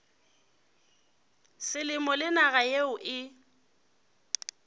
selemo le naga yeo e